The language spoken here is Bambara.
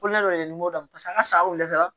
Ko ne m'o dɔn paseke an ka sagaw la